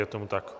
Je tomu tak.